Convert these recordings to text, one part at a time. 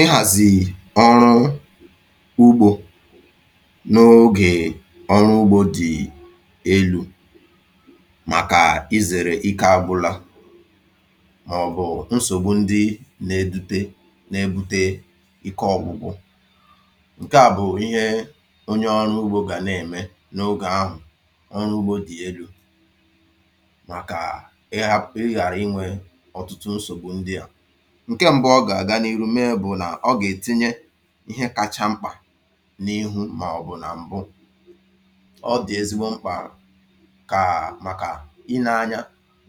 ị hàzì ọrụ ugbȯ n’ogè ọrụ ugbȯ dị̀ elu̇ màkà izèrè ike àgbụla mà ọ̀ bụ̀ nsògbu ndị na-edute na-ebute ike ọ̀gụgụ ǹke à bụ̀ ihe onye ọrụ ugbȯ gà nà-ème n’ogè ahụ̀ ọrụ ugbȯ dị̀ elu̇ ǹke mbụ ọ gà-àga n’iru mee bụ̀ nà ọ gà-ètinye ihe kacha mkpà n’ihu màọ̀bụ̀ nà m̀bụ ọ dị̀ ezigbo mkpà kà màkà i ne-anya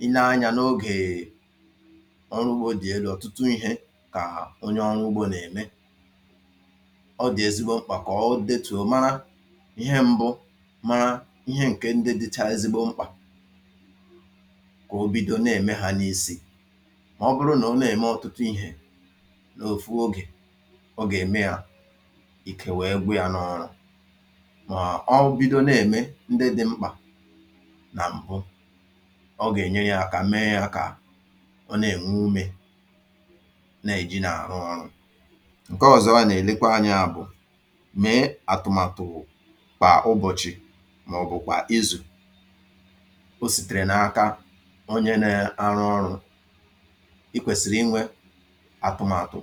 i ne-anya n’ogèè ọrụ ugbȯ dị̀ elu̇ ọ̀tụtụ ihe kà onye ọrụ ugbȯ nà-ème ọ dị̀ ezigbo mkpà kà ọ dịtùo mara ihe mbụ̇ ma ihe ǹke ndị dịcha ezigbo mkpà kà o bido na-ème ha n’isi n’òfu ogè ọ gà ème à ike wèe gba yȧ n’ọrụ mà ọ bido nà ẹ̀mẹ ndị dị̇ mkpà nà m̀bụ ọ gà ènye yȧ kà mẹẹ yȧ kà ọ nà ẹ̀nwụ umė nà èji nà àrụ ọrụ̇ ǹke ọ̀zọwa nà ẹ̀lẹkwa anyȧ bụ̀ mẹẹ àtụ̀màtụ̀ kpà ụbọ̀chị mà ọ̀ bụ̀ kwà izù o sìtèrè n’aka onye nà arụ ọrụ̇ atụmatụ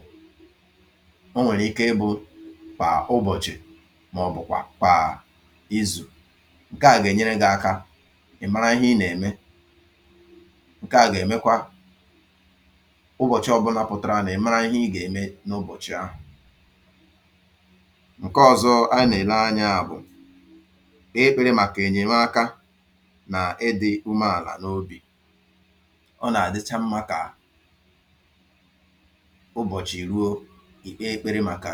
o nwèrè ike ịbụ̇ kwà ụbọ̀chị̀ màọ̀bụ̀ kwà izù ǹke à gà-ènyere gị̇ aka ị̀ mara ihe ị nà-ème ǹke à gà-èmekwa ụbọ̀chị ọbụnapụ̀tàrà nà ị̀ mara ihe ị gà-ème n’ụbọ̀chị̀ ahụ̀ ǹke ọ̇zọ̇ a nà-èle anya bụ̀ e ebėre màkà ènyème aka nà ịdị̇ umeàlà n’obì ọ nà-àdịcha mmȧ kà ụbọ̀chị̀ ì ruo ike ikpėrė màkà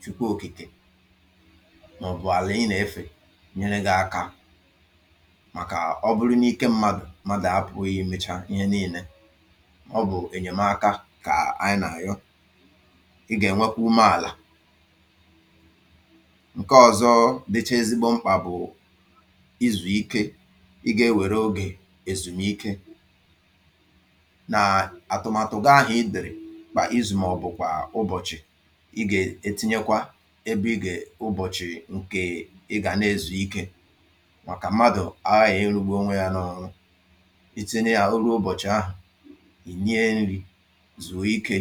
chukwu òkìkè mà ọ̀ bụ̀ àlà ị nà efè nyè ne gà akȧ màkà ọ bụrụ n’ike m̀madụ̀ màdà apụ̀ ihe michaa nyèe nille ọ bụ̀ ènyèmaka kà anyị nà ànyọ ị gà ènwekwa ume àlà ǹkè ọ̀zọ dịchà ezigbo mkpà bụ̀ ịzụ̀ ike ị gà ewère ogè èzùmike kpà ịzụ̀ m ọ̀bụ̀kwà ụbọ̀chị̀ ị gà-ètinyekwa ebe ị gà-àụbọ̀chị̀ ǹkè ị gà na-ezù ike màkà mmadụ̀ ahà ịrụ̇gbu onwe yȧ n’ọrụ iti nà ya uru ụbọ̀chị̀ ahụ̀ ìnye nri̇ zùo ikė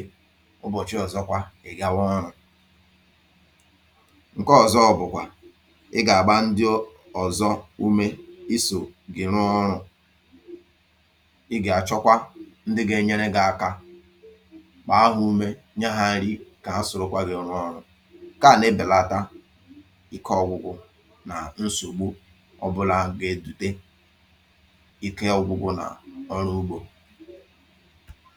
ụbọ̀chị ọ̀zọkwa ị̀ gawa ọrụ̇ ǹke ọ̀zọ bụ̀kwà ị gà-àgba ndị ọ̀zọ umė isò gị̀ nụọ ọrụ̇ ị gà-àchọkwa ndị ga-enyere gị̇ aka kpàa ahụ̀ ume nye ghȧ nri kà ha sòròkwà gị ọrụ ọrụ kà nà-ebèlata ike ọ̀gwụ̀gwụ̀ nà nsògbu ọbụlà gà-èdute ike ọ̀gwụ̀gwụ̀ nà ọrụ ugbȯ